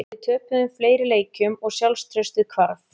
Við töpuðum fleiri leikjum og sjálfstraustið hvarf.